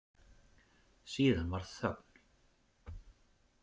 Síðan varð þögn.